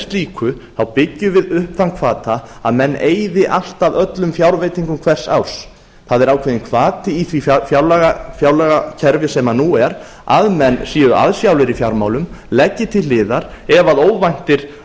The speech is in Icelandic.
slíku byggjum við upp þann hvata að menn eyði alltaf öllum fjárveitingum hvers árs það er ákveðinn hvati í því fjárlagakerfi sem nú er að menn séu aðsjálir í fjármálum leggi til hliðar ef óvæntir